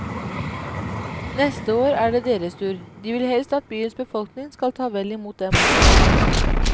Neste år er det deres tur, de vil helst at byens befolkning skal ta vel i mot dem også.